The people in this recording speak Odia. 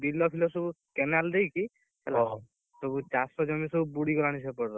ବିଲ ଫିଲ ସବୁ canal ଦେଇକି, ସବୁ ଚାଷ ଜମି ସବୁ ବୁଡ଼ି ଗଲାଣି ସେପଟର,